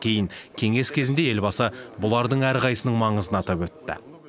кейін кеңес кезінде елбасы бұлардың әрқайсының маңызын атап өтті